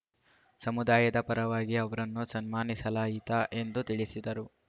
ಸಮುದಾಯದ ಪರವಾಗಿ ಅವರನ್ನು ಸನ್ಮಾನಿಸಲಾಯಿತ ಎಂದು ತಿಳಿಸಿದರು